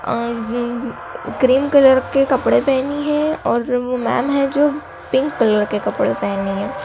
अं cream colour के कपड़े पहनी है और वो मैम हैं जो पिंक कलर के कपड़े पहनी हैं।